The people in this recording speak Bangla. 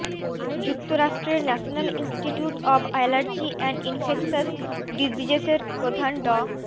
যুক্তরাষ্ট্রের national institute of allergy and infectious ডিজিজেসের প্রধান ড